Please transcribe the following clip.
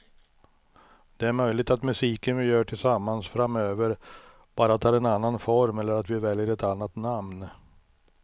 Det är möjligt att musiken vi gör tillsammans framöver bara tar en annan form eller att vi väljer ett annat namn.